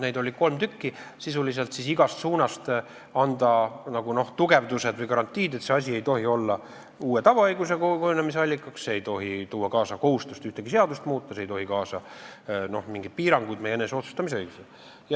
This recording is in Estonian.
Neid oli kolm, et sisuliselt igast suunast anda tugevdused või garantiid, et see asi ei tohi olla uue tavaõiguse kujunemise allikaks, see ei tohi tuua kaasa kohustust ühtegi seadust muuta ja see ei tohi kaasa tuua mingeid piiranguid meie eneseotsustamisõigusele.